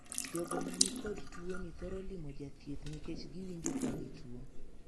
Jogo ma ni kod tuo ni thoro limo jathieth nikech giwinjo ka gituo.